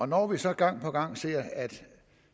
når vi så gang på gang ser at